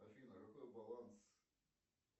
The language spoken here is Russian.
афина какой баланс